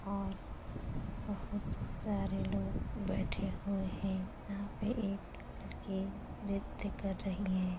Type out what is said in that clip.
और बहुत सारे लोग बैठे हुए हैं । यहाँ पे एक लड़की नत्य कर रही है |